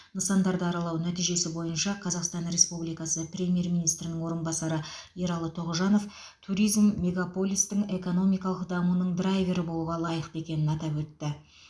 нысандарды аралау нәтижесі бойынша қазақстан республикасы премьер министрінің орынбасары ералы тоғжанов туризм мегаполистің экономикалық дамуының драйвері болуға лайықты екенін атап өтті